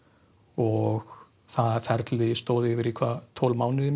og það ferli stóð yfir í tólf mánuði